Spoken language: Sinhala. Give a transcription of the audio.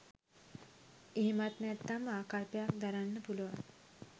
එහෙමත් නැත්නම් ආකල්පයක් දරන්න පුළුවන්.